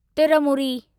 तिर मूरी